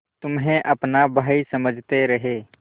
तुम्हें अपना भाई समझते रहे